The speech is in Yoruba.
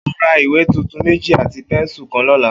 O óò ra ìwé tuntun méjì àti pé̩nsù kan ló̩la!